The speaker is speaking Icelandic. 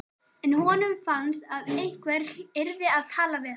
En honum fannst að einhver yrði að tala við hana.